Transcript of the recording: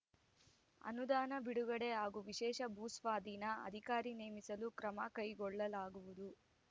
ಅನುದಾನ ಬಿಡುಗಡೆ ಹಾಗೂ ವಿಶೇಷ ಭೂಸ್ವಾಧೀನ ಅಧಿಕಾರಿ ನೇಮಿಸಲು ಕ್ರಮ ಕೈಗೊಳ್ಳಲಾಗುವುದು